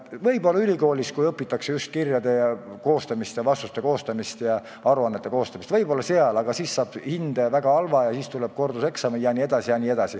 Kui ülikoolis, kus õpitakse ka kirjade koostamist, vastuste koostamist ja aruannete koostamist, tehakse selliseid vigu, siis saab väga halva hinde ja tuleb teha korduseksam.